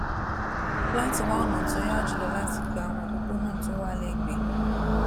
láti wá ònà tó yá jù lọ láti gba àwọn òpópónà tó wà légbèé